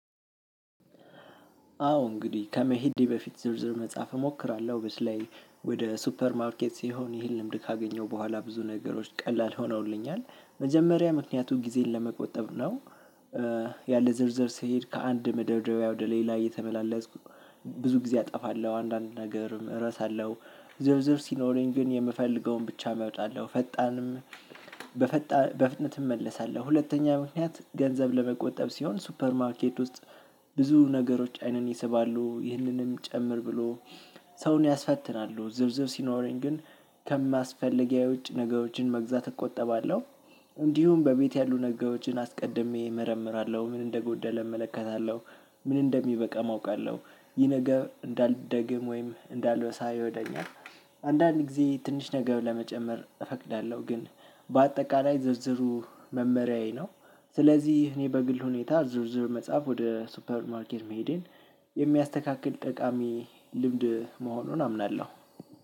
አዎ እንግዲህ ከመሄዴ በፊት ዝርዝር መጽሐፍ እሞክራለው በተለይ ወደ ሱፐር ማርኬት ሲሆን ይህን ልምድ ካገኘው በኋላ ብዙ ነገሮች ቀላል ሆነውልኛል መጀመሪያ ምክንያቱም ጊዜን ለመቆጠብ ነው። ያለ ዝርዝር ስሄድ ከአንድ መደርደርያ ወደ ሌላ እየተመላለስኩ ብዙ ጊዜ አጠፋለው አንዳንድ ነገርም እረሳለው። ዝርዝር ሲኖረኝ ግን የምፈልገውን ብቻ አመጣለው ፈጣንም በፈጣን በፍጥነትም እመለሳለው። ሁለተኛ ምክንያት ገንዘብ ለመቆጠብ ሲሆን ሱፐር ማርኬት ውስጥ ብዙ ነገሮች አይኔን ይሰባሉ ይህንንም ጭምር ብሎ ሰውን ያስፈትናሉ ዝርዝር ሲኖረኝ ግን ከማስፈለጊያ ውጭ ነገሮችን መግዛት እቆጠባለው። እንዲሁም በቤት ያሉ ነገሮችን አስቀድሜ እመረምራለው ምን እንደጎደለ እመለከታለው ምን እንደሚበቃም አውቃለው። ይህ ነገር እንዳልደግም ወይም እንዳለ ሳየው ደሞ አንዳንድ ጊዜ ትንሽ ነገር ለመጨመር እፈቅዳለው። ግን በአጠቃላይ ዝርዝሩ መመሪያዬ ነው። ስለዚህ እኔ በግል ሁኔታ ዝርዝር መጻፍ ወደ ሱፐርማርኬት መሄዴን የሚያስተካክል ጠቃሚ ልምድ መሆኑን አምናለው።